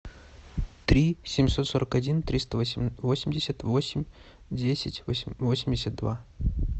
три семьсот сорок один триста восемьдесят восемь десять восемьдесят два